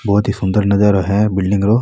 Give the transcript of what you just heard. बहोत ही सुन्दर नजारो है बिल्डिंग रो।